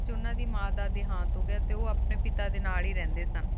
ਉਨੀ ਸੋ ਨਾਨੇੰਯਨ ਡੀ ਵੇਚ ਉਨਾ ਦੇ ਮਾਨ ਕਾ ਦੇਹਾਤ ਹੂ ਗਯਾ ਟੀ ਓਆਪ੍ਨ੍ਯਨ ਪਿਤਾ ਡੀ ਨਾਲ ਹੇ ਰਹ੍ਦ੍ਯਨ ਸ